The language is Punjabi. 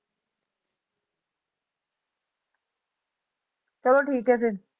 ਚਲੋ ਠੀਕ ਹੈ ਫਿਰ।